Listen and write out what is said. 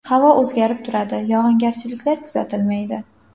Havo o‘zgarib turadi, yog‘ingarchiliklar kuzatilmaydi.